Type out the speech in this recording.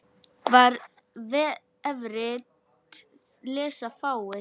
Það vefrit lesa fáir.